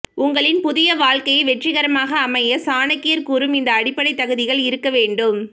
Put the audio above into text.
உங்களின் புதிய வாழ்க்கை வெற்றிக்கரமாக அமைய சாணக்கியர் கூறும் இந்த அடிப்படை தகுதிகள் இருக்க வேண்டும்